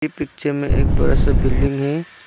Picture में एक बड़ा सा बिल्डिंग है।